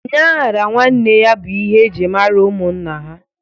Onye a ghara nwanne ya bụ ihe e ji mara ụmụnna ha